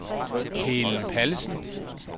Helen Pallesen